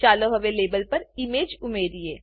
ચાલો હવે લેબલ પર ઈમેજ ઉમેરીએ